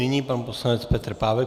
Nyní pan poslanec Petr Pávek.